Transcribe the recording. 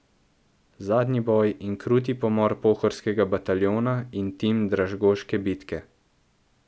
Zadnji boj in kruti pomor Pohorskega bataljona in tim Dražgoške bitke.